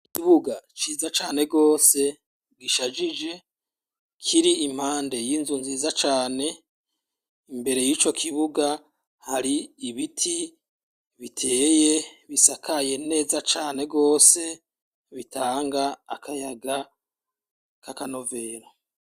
Ikibuga ciza cane rwose gishajije kiri impande y'inzu nziza cane imbere y'ico kibuga hari ibiti biteye bisakaye neza cane rwose bitanga akayaga k'akanovera.